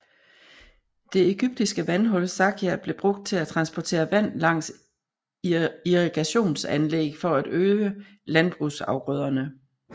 Det egyptiske vandhjul sakia blev brugt til at transportere vand langs irrigationsanlæg for at øge landbrugsafgrøderne